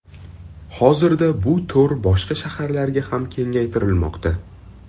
Hozirda bu to‘r boshqa shaharlarga ham kengaytirilmoqda.